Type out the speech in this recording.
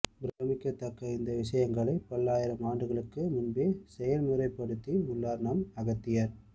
பிரமிக்கத்தக்க இந்த விஷயங்களை பல்லாயிரம் ஆண்டுகளுக்கு முன்பே செயல் முறைப்படுத்தி உள்ளார் நம் அகத்தியர்